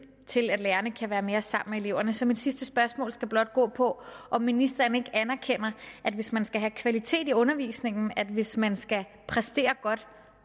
til at lærerne kan være mere sammen med eleverne så mit sidste spørgsmål skal blot gå på om ministeren ikke anerkender at hvis man skal have kvalitet i undervisningen at hvis man skal præstere godt